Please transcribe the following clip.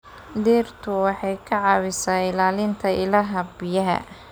Dhirtu waxay ka caawisaa ilaalinta ilaha biyaha.